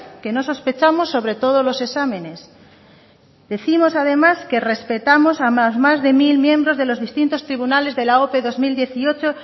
que no sospechamos sobre todos los exámenes decimos además que respetamos a los más de mil miembros de los distintos tribunales de la ope dos mil dieciocho